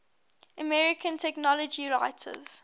american technology writers